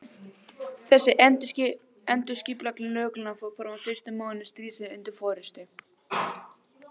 Þessi endurskipulagning lögreglunnar fór fram á fyrstu mánuðum stríðsins undir forystu